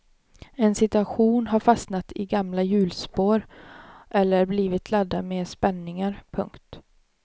En situation har fastnat i gamla hjulspår eller blivit laddad med spänningar. punkt